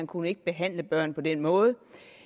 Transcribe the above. kunne behandle børn på den måde